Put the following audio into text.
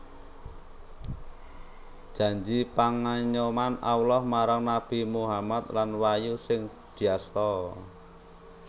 Janji pangayoman Allah marang Nabi Muhammad lan wahyu sing diasta